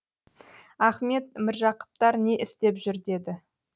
ахмет міржақыптар не істеп жүр деді